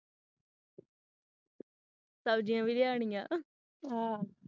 ਸਬਜੀਆਂ ਵੀ ਲਿਆਣੀਆਂ